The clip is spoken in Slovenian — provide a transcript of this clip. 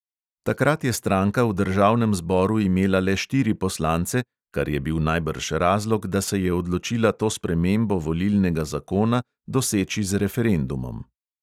Takrat je stranka v državnem zboru imela le štiri poslance, kar je bil najbrž razlog, da se je odločila to spremembo volilnega zakona doseči z referendumom.